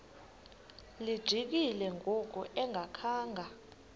lijikile ngoku engakhanga